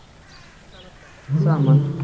Lyfjasala dregst saman